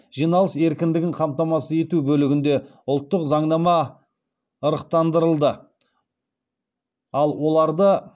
жиналыс еркіндігін қамтамасыз ету бөлігінде ұлттық заңнама ырықтандырылды ал оларды